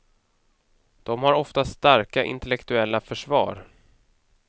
De har ofta starka intellektuella försvar.